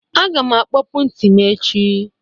Agam akpọpu nti m echi